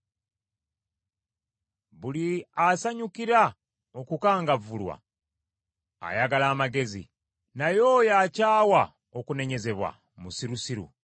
Buli asanyukira okukangavvulwa ayagala amagezi; naye oyo akyawa okunenyezebwa musirusiru.